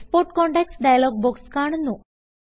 export contacts dialog box കാണുന്നു